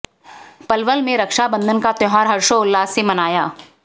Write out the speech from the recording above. पलवल में रक्षा बंधन का त्योहार हर्षोल्लास से मनाया